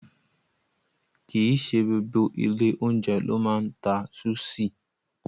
Kì í ṣe gbogbo ilé-oúnjẹ ló máa ń ta súṣì.